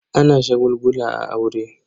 Ana shagulgula a aure.